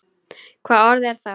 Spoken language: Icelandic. Hvaða orð er það?